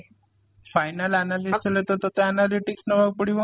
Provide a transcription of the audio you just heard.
Final analyst ହେଲେ ତ ତତେ analytics ନବା କୁ ପଡିବ